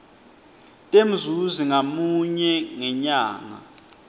temzuzi ngamunye ngenyanga